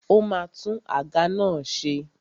Ó ma tún àga náà ṣe.